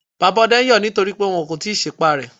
Bàbá ọdẹ ń yọ nítorí pé wọn kò tíì sí pá rẹ.